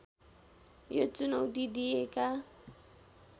यो चुनौती दिएका